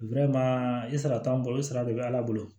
i sara t'an bolo o sara de bɛ ala bolo